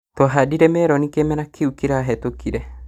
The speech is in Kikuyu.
Twahandire meroni kĩmera kĩu kĩrahĩtũkire